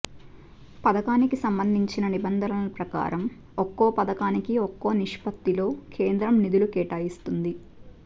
పథకానికి సంబంధించిన నిబంధనల ప్రకారం ఒక్కో పథకానికి ఒక్కో నిష్పత్తిలో కేంద్రం నిధులు కేటాయిస్తుంది